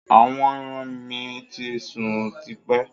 Àwọn ẹran mi to sún tipẹ́